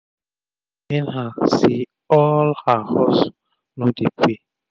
e dey pain her say all her hustle no dey pay